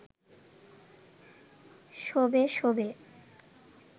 শোবে শোবে